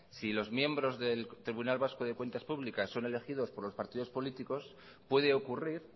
si los miembros del tribunal vasco de cuentas públicas son elegidos por los partidos políticos puede ocurrir